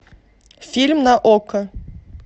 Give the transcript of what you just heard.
фильм на окко